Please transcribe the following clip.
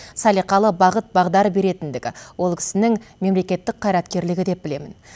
салиқалы бағыт бағдар беретіндігі ол кісінің мемлекеттік қайраткерлігі деп білемін